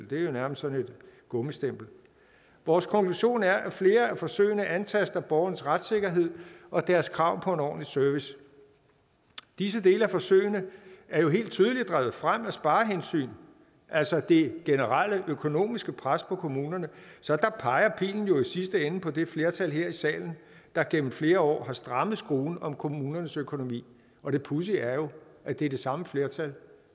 det er jo nærmest et gummistempel vores konklusion er at flere af forsøgene antaster borgerens retssikkerhed og deres krav på en ordentlig service disse dele af forsøgene er jo helt tydeligt drevet frem af sparehensyn altså det generelle økonomiske pres på kommunerne så der peger pilen jo i sidste ende på det flertal her i salen der igennem flere år har strammet skruen om kommunernes økonomi og det pudsige er jo at det er det samme flertal